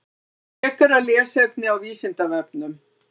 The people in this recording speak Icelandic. Frekara lesefni á Vísindavefnum: